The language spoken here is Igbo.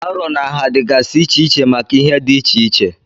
Arọ na nha dịgasị iche iche maka ihe dị iche iche.